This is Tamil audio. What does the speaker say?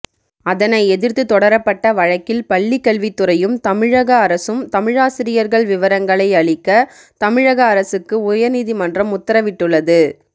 அதனை எதிர்த்து தொடரப்பட்ட வழக்கில் பள்ளிக்கல்வித்துறையும் தமிழக அரசும் தமிழாசிரியர்கள் விவரங்களை அளிக்க தமிழக அரசுக்கு உயர்நீதிமன்றம் உத்தரவிட்டுள்ளது